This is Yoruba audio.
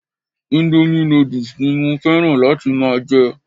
Indomie noodles ni mo fẹ́ràn láti máa jẹ